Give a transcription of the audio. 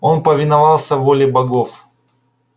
он повиновался воле богов